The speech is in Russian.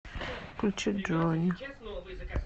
включи джонни